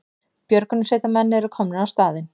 Björgunarsveitarmenn eru komnir á staðinn